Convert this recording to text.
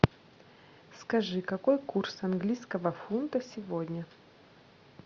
скажи какой курс английского фунта сегодня